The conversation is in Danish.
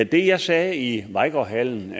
det jeg sagde i vejgaard hallen